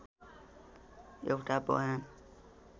एउटा बयान